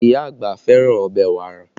Ìyá àgbà fẹ́ràn ọbẹ̀ wàrà